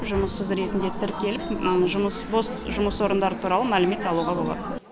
жұмыссыз ретінде тіркеліп жұмыс бос жұмыс орындары туралы мәлімет алуға болады